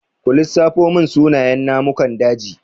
Ku lissafo mun sunayen namukan daji?